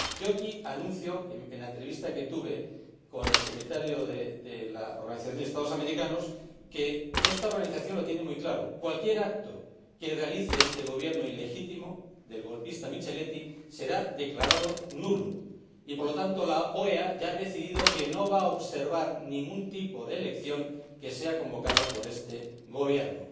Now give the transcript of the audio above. Aquí, anuncio que, en la entrevista que mantuve con el Secretario de la Organización de Estados Americanos, comprobé que esta organización lo tiene muy claro cualquier acto que realice este Gobierno ilegítimo del golpista Micheletti será declarado nulo y, por lo tanto, la OEA ya ha decidido que no va a observar ningún tipo de elección que sea convocada por este Gobierno.